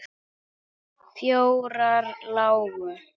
Fjórar lágu.